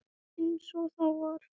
Líka þeirri fjórðu og fimmtu.